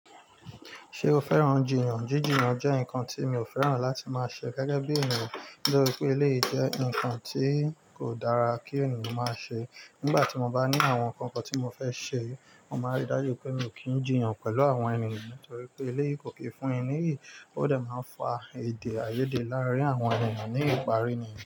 Ṣé o fẹ́ràn jiyàn? Jiji jiyan jẹ́ nǹkan tí mi ò fẹ́ràn láti máa ṣe gẹ́gẹ́ bí èniyan lo rí i pé eléyi jẹ́ nǹkan tí kò dára kí ènìyàn máa ṣe. Nígbà tí mo bá ní àwọn nǹkan kan tí mo fẹ́ ṣe, mo máa rí dájú pé mi ò kí ń jìyàn pẹ̀lú àwọn ènìyàn nítorí pé ilé kò kí fún ẹni niyi. Ó dẹ̀ máa ń fa èdè àìyédè láàárín àwọn ènìyàn ní ìparí.